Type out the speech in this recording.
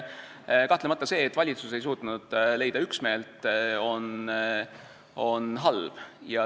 Kahtlemata, see, et valitsus ei suutnud leida üksmeelt, on halb.